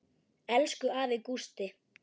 Elsku afi Gústi.